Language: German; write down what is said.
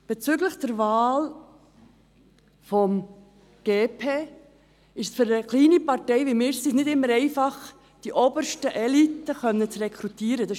Bezüglich der Wahl des «GP» ist es für eine kleine Partei, wie wir es sind, nicht immer einfach, die obersten Eliten rekrutieren zu können;